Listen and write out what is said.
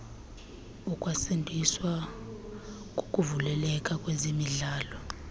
ukwandiswa kokuvuleleka kwezemidlalo